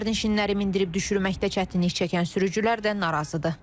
Sərnişinləri mindirib düşürməkdə çətinlik çəkən sürücülər də narazıdır.